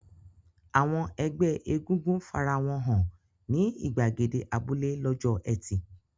Àwọn ẹgbẹ́ egúngún fara wọn hàn ní ìgbàgede abúlé lọ́jọ́ ẹtì.